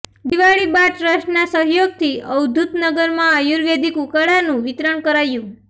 દિવાળી બા ટ્રસ્ટનાં સહયોગથી અવધૂત નગરમાં આયુર્વેદિક ઉકાળાનું વિતરણ કરાયું